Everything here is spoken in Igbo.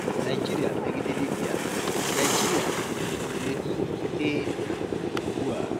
Naịjịrị megide Libya:Naịjịrị um na-edu otu E um ụgbụ a